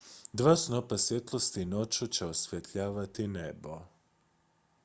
dva snopa svjetlosti noću će osvjetljavati nebo